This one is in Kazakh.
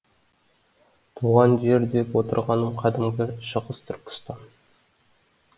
туған жер деп отырғаным қадімгі шығыс түркістан